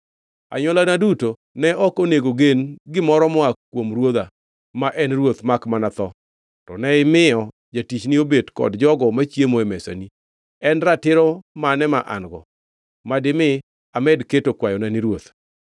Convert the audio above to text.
Anywolana duto ne ok onego gen gimoro moa kuom ruodha ma en ruoth makmana tho, to ne imiyo jatichni obet kod jogo machiemo e mesani. En ratiro mane ma an-go madimi amed keto kwayona ni ruoth?”